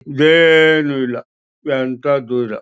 ಏನೂ ಇಲ್ಲ ಎಂತದ್ದು ಇಲ್ಲ.